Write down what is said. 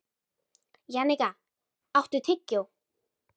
Jannika, áttu tyggjó?